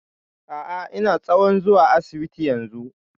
A'a ina tsohon zuwa asibiti yanzu